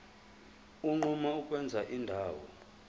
unquma ukwenza indawo